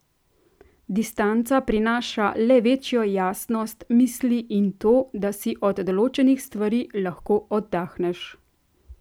Distanca prinaša le večjo jasnost misli in to, da si od določenih stvari lahko oddahneš.